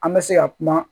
An bɛ se ka kuma